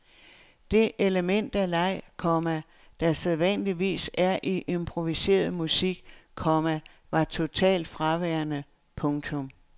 Det element af leg, komma der sædvanligvis er i improviseret musik, komma var totalt fraværende. punktum